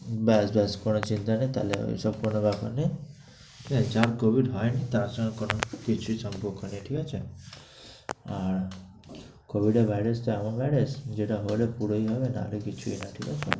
ব্যাস ব্যাস কোনো চিন্তা নেই, তাইলে ঐসব কোনো ব্যাপার নেই। যার covid হয় নি, তার সঙ্গে কোনো কিছুর সম্পর্ক নেই, ঠিক আছে? আর covid এর virus টা এমন virus যেটা হলে পুরোই হবে, নাহলে কিছুই না, ঠিক আছে?